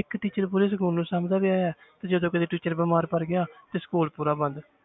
ਇੱਕ teacher ਪੂਰੇ school ਨੂੰ ਸਾਂਭਦਾ ਪਿਆ ਹੈ ਤੇ ਜਦੋਂ ਕਦੇ teacher ਬਿਮਾਰ ਪੈ ਗਿਆ ਤੇ school ਪੂਰਾ ਬੰਦ